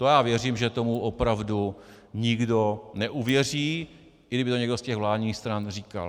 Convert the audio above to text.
To já věřím, že tomu opravdu nikdo neuvěří, i kdyby to někdo z těch vládních stran říkal.